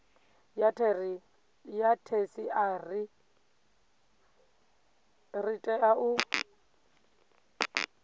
ya theshiari ḽi tea u